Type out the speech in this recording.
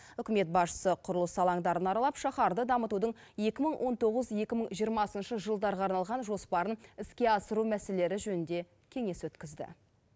үкімет басшысы құрылыс алаңдарын аралап шаһарды дамытудың екі мың он тоғыз екі мың жиырмасыншы жылдарға арналған жоспарын іске асыру мәселелері жөнінде кеңес өткізді